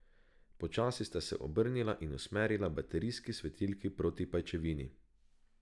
Počasi sta se obrnila in usmerila baterijski svetilki proti pajčevini.